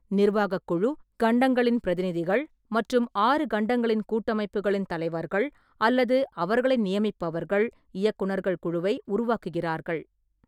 நிர்வாக குழு, கண்டங்களின் பிரதிநிதிகள் மற்றும் ஆறு கண்டங்களின் கூட்டமைப்புகளின் தலைவர்கள் அல்லது அவர்களை நியமிப்பவர்கள், இயக்குநர்கள் குழுவை உருவாக்குகிறார்கள்.